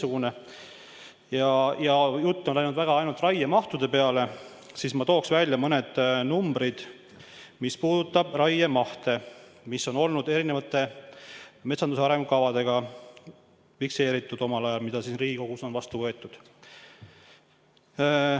Kuna jutt on läinud ainult raiemahtude peale, siis ma tooksin välja mõned numbrid, mis puuduvad raiemahte, mis on omal ajal fikseeritud erinevates metsanduse arengukavades, mis on Riigikogus vastu võetud.